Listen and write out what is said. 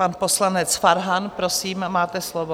Pan poslanec Farhan, prosím, máte slovo.